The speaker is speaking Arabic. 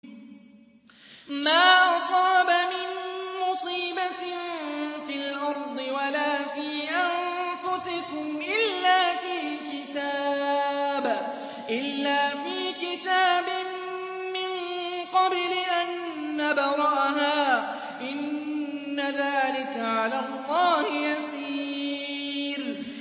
مَا أَصَابَ مِن مُّصِيبَةٍ فِي الْأَرْضِ وَلَا فِي أَنفُسِكُمْ إِلَّا فِي كِتَابٍ مِّن قَبْلِ أَن نَّبْرَأَهَا ۚ إِنَّ ذَٰلِكَ عَلَى اللَّهِ يَسِيرٌ